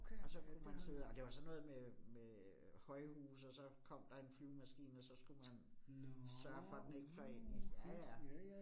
Og så kunne man sidde, og det var sådan noget med med højhuse, og så kom der en flyvemaskine, og så skulle man sørge for, den ikke fløj ind i. Ja ja